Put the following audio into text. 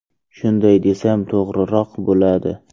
Shunday desam, to‘g‘riroq bo‘ladi.